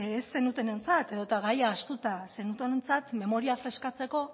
ez zenutenentzat edota gaia ahaztuta zenutenontzat memoria freskatzeko